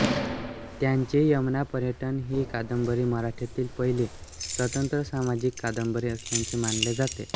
त्यांची यमुनापर्यटन ही कादंबरी मराठीतील पहिली स्वतंत्र सामाजिक कादंबरी असल्याचे मानले जाते